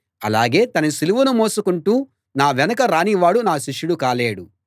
అలాగే తన సిలువను మోసుకుంటూ నా వెనుక రానివాడు నా శిష్యుడు కాలేడు